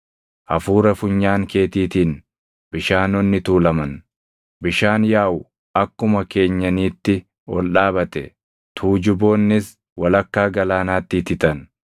Hafuura funyaan keetiitiin bishaanonni tuulaman. Bishaan yaaʼu akkuma keenyaniitti ol dhaabate; tuujuboonnis walakkaa galaanaatti ititan.